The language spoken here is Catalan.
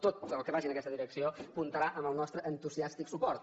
tot el que vagi en aquesta direcció comptarà amb el nostre entusiàstic suport